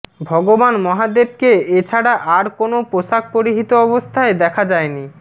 ভগবান মহাদেবকে এছাড়া আর কোনও পোশাক পরিহিত অবস্থায় দেখা যায়নি